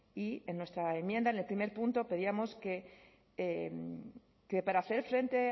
y en nuestra enmienda en el primer punto pedíamos que para hacer frente